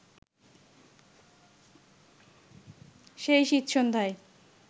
সেই শীতসন্ধ্যায়